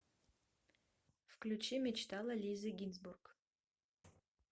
включи мечтала лизы гинзбург